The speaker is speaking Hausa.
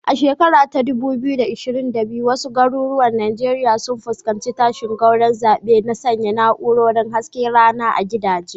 A shekara ta 2022, wasu garuruwan Najeriya sun fuskanci tashin gwauron zaɓe na sanya na'urorin hasken rana a gidaje.